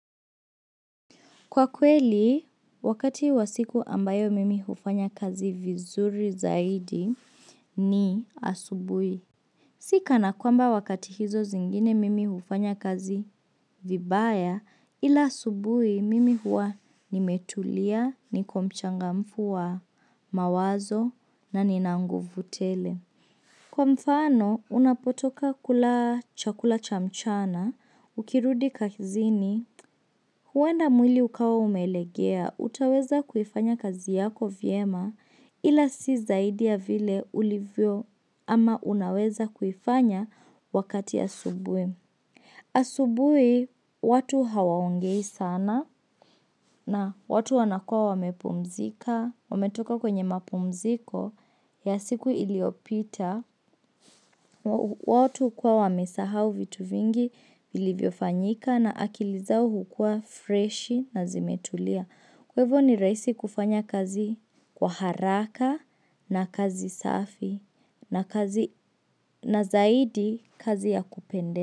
Kwa kweli, wakati wa siku ambayo mimi hufanya kazi vizuri zaidi ni asubuhi. Sikana kwamba wakati hizo zingine mimi hufanya kazi vibaya ila asubuhi mimi huwa nimetulia, niko mchangamfu wa mawazo na nina nguvu tele. Kwa mfano, unapotoka kula chakula cha mchana, ukirudi kazini, huenda mwili ukawa umelegea, utaweza kuifanya kazi yako vizuri, ila si zaidi ya vile ulivyo ama unaweza kuifanya wakati wa asubuhi. Asubuhi, watu hawaongei sana na watu wanakuwa wamepumzika, wametoka kwenye mapumziko ya siku iliyopita. Watu huwa wamesahau vitu vingi vilivyofanyika, na akili zao huwa fresh na zimetulia. Kwa hivyo, ni rahisi kufanya kazi kwa haraka na kazi safi, na zaidi kazi ya kupendeza.